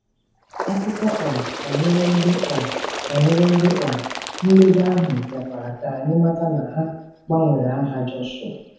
Akụkọ um banyere ndị um banyere ndị um nledo ahụ mekwara ka anyị mata na a gbanwere aha Jọshụa.